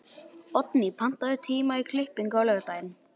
Oddný, pantaðu tíma í klippingu á laugardaginn.